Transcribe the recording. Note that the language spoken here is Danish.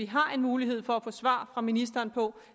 har mulighed for at få svar fra ministeren på